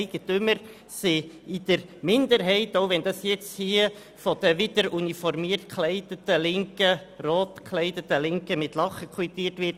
Die Hauseigentümer sind in der Minderheit, auch wenn das nun hier von den wieder uniformiert rot gekleideten Linken mit Lachen quittiert wird.